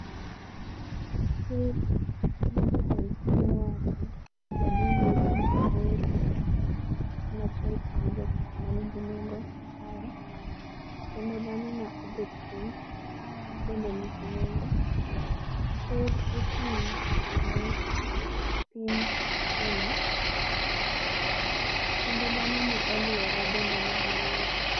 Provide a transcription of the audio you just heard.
Ker mar jotend piny owacho William Samoei Ruto en achiel kuom jokma nigi nengo ae kendo dhano ma obet piny be nigi nengo. Ker ochung' ne piny kenya kendo dhano ma oluore bende nigi nengo